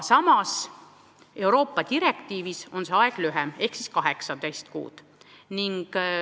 Samas on Euroopa Liidu direktiivis see aeg lühem, 18 kuud.